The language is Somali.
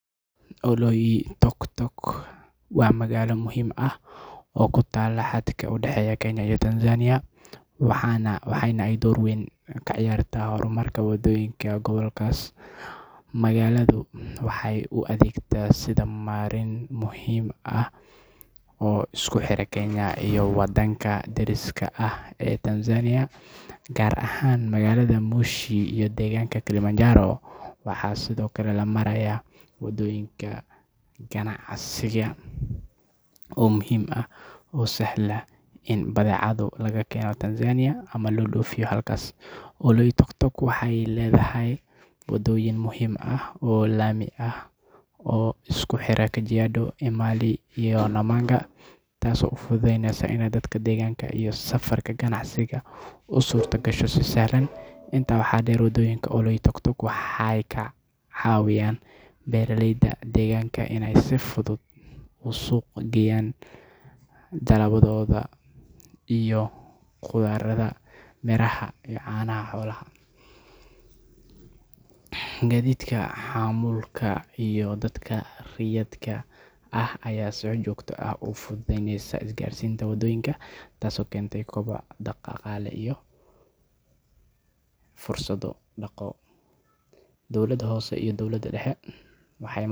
Oloitoktok wa magaalo muxiim ah oo kutala hadka udahey kenya iyo tanzania waxayna ay dowr wen kaciyarta hormarka wadoyinka gabolkas, magaladu waxay uadegtaa marren muxiim ay oo iakuhirahaa magaloyinka iyo wadanka dariska ah, ee tanzania gaar ahan magalada moshi ee mount Kilimanjaro, waxa sidhokale lamaraya wadoyinka casriga ah oo muxiim ah, oo sahla in badecadu lakeno tamzania ama lodofiyo halkas, oloitoktok waxay ledahay wadoyin muxiim ah oo lami ah oo iskuhira kajiado mali iyo lamanga, taas oo ufududeyneyso inay dadka deganka iyo safarka ganacsiga usurta gasho si sahlan, inta waxa deer wadoyinka oloitoktok waxay kacawiyaan beraleyda deganka inay si fudud usuq geyaan, dalabadoda iyo qudarata beraha iyo canaha xoolaha, gadidka hamulka iyo dadka riyadka ah aya si jogta ah ufududeyneysa isgarsinka wadoyinka taas oo kenta dowaca daqale iyo fursado dago, dowlada hose iyo dowlada dahe waxay.